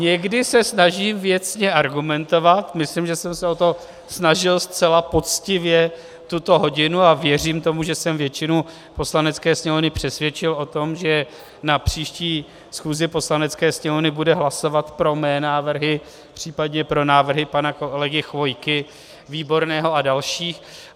Někdy se snažím věcně argumentovat, myslím, že jsem se o to snažil zcela poctivě tuto hodinu, a věřím tomu, že jsem většinu Poslanecké sněmovny přesvědčil o tom, že na příští schůzi Poslanecké sněmovny bude hlasovat pro mé návrhy, případně pro návrhy pana kolegy Chvojky, Výborného a dalších.